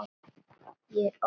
Ég er óð.